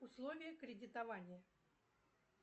условия кредитования